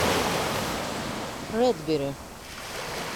редбери